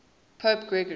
pope gregory